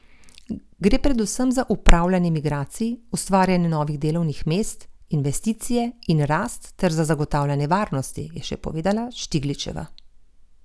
Gre predvsem za upravljanje migracij, ustvarjanje novih delovnih mest, investicije in rast ter za zagotavljanje varnosti, je še povedala Štigličeva.